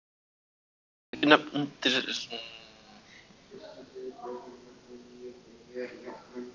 Muni þingnefndirnar tvær kanna þetta sérstaklega